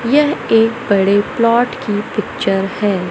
यह एक बड़े प्लॉट की पिक्चर है।